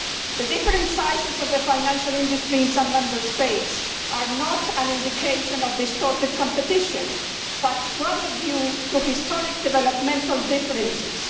The different sizes of the financial industry in some Member States are not an indication of distorted competition, but rather due to historic developmental differences.